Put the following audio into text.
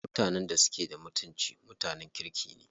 Mutanen da suke da mutunci mutanen kirki ne.